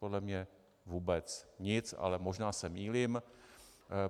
Podle mě vůbec nic, ale možná se mýlím.